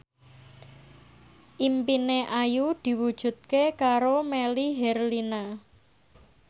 impine Ayu diwujudke karo Melly Herlina